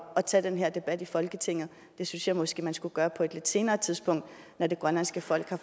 at tage den her debat i folketinget det synes jeg måske man skulle gøre på et lidt senere tidspunkt når det grønlandske folk har